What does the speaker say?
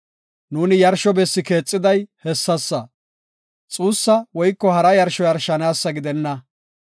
“Nu yarsho bessi keexiday hessasa. Xuussa woyko hara yarsho yarshanaasa gidenna.